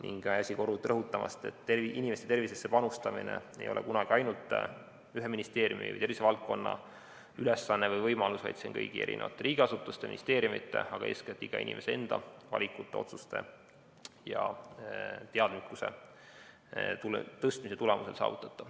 Ei väsi ka kordamast ja rõhutamast, et inimeste tervisesse panustamine ei ole kunagi ainult ühe ministeeriumi või tervisevaldkonna ülesanne või võimalus, vaid see on saavutatav kõigi riigiasutuste, ministeeriumide, aga eeskätt iga inimese enda valikute, otsuste ja teadlikkuse tõstmise tulemusel.